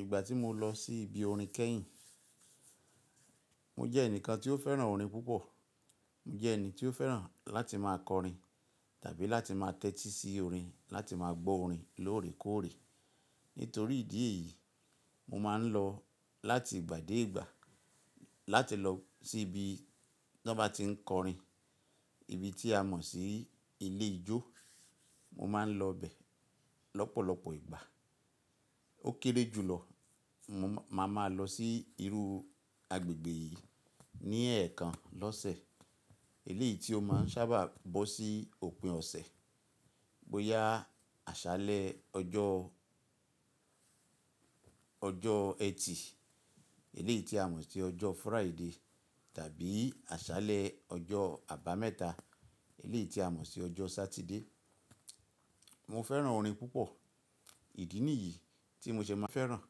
Ìgbà tí mo lọ sí ibi orin kẹ́yìn, mo jẹ́ ẹnìkan tí ó fẹ́ràn orin púpọ̀. Mo jẹ́ ẹni tí ó fẹ́ràn láti máa kọrin tàbí láti máa tẹ́tí sí orin, láti máa gbọ́ orin lóòrèkóòrè. Nítorí ìdí èyí, mo máa ń lọ láti ìgbà dé ìgbà láti lọ sí ibi tí wọ́n bá ti ń kọrin, ibi tí a mọ̀ sí ilé ijó. Mo máa ń lọ bẹ̀ lọ́pọ̀lọpọ̀ ìgbà. Ó kéré jùlọ, mo màá máa lọ sí irú agbègbè yìí ní ẹ̀ẹ̀kan lọ́sẹ̀. Eléyìí tí ó máa ń sábà bọ́ sí òpin ọ̀sẹ̀, bóyá àṣálẹ́ ọjọ́, ọjọ́ Ẹtì, eléyìí tí a mọ̀ sí ọjọ́ Friday tàbí àṣálẹ́ ọjọ́ àbámẹ́ta, eléyìí tí a mọ̀ sí ọjọ́ Sátidé. Mo fẹ́ràn orin púpọ̀. Ìdí nìyí tí mo ṣe máa fẹ́ràn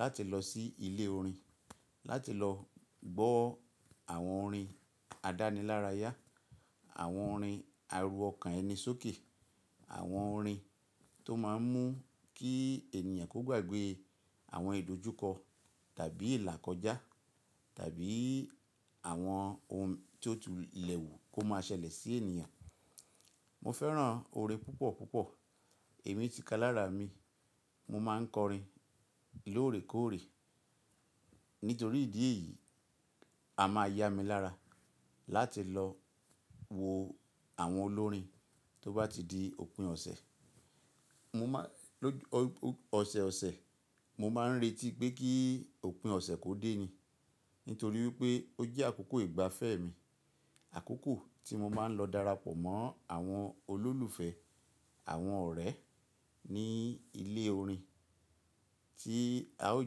láti lọ sí ilé orin láti lọ gbọ́ àwọn orin àdánilárayá, àwọn orin aru ọkàn ẹni sókè, àwọn orin tó máa ń mú kí ènìyàn kó gbàgbé àwọn ìdojúkọ tàbí ìlà kọjá tàbí àwọn ohun tí ó tu ilẹ̀kùn kó máa ṣẹlẹ̀ sí ènìyàn. Mo fẹ́ràn orin púpọ̀ púpọ̀. Èmi ti kalára mi, mo máa ń kọrin lóòrèkóòrè. Nítorí ìdí èyí, a máa yá mi lára láti lọ wo àwọn olórin tó bá ti di òpin ọ̀sẹ̀. Mo máa-- ọ̀sẹ̀ ọ̀sẹ̀, mo máa ń retí pé kí òpin ọ̀sẹ̀ kó dé ni. Nítorí wípé ó jẹ́ àkókò ìgbafẹ́ mi. Àkókò tí mo máa ń lọ darapọ̀ mọ́ àwọn olólùfẹ́, àwọn ọ̀rẹ́ ní ilé orin tí a ó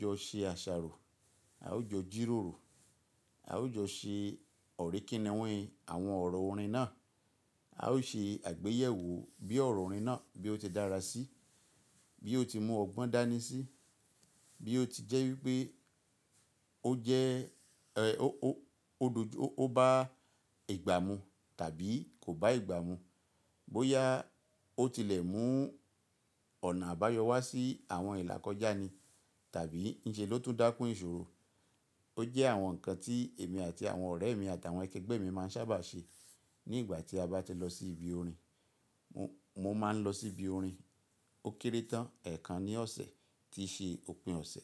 jọ ṣe àṣàrò, a ó jọ jírórò, a ó jọ ṣe ọ̀ríkínniwín àwọn ọ̀rọ̀ orin náà. A ó ṣe àgbéyẹ̀wò bí ọ̀rọ̀ orin náà bí ó ti dára sí, bí ó ti mú ọgbọ́n dání sí, bí ó ti jẹ́ wípé ó jẹ́, ẹ, ó, ó, ó dojú ó bá ìgbà mu tàbí kò bá ìgbà mu. Bóyá ó tilẹ̀ mú ọ̀nà àbáyọ wá sí àwọn ìlà kọjá ni tàbí níṣe ló tún dákún ìṣòro. Ó jẹ́ àwọn nǹkan tí èmi àti àwọn ọ̀rẹ́ mi àti àwọn akẹgbẹ́ mi máa ń sábà ṣe nígbà tí a bá ti lọ sí ibi orin. Mo máa ń lọ sí ibi orin ó kéré tán ẹ̀ẹ̀kan ní ọ̀sẹ̀ tí í ṣe òpin ọ̀sẹ̀.